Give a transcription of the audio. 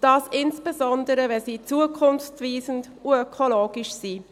Das insbesondere, wenn sie zukunftsweisend und ökologisch sind.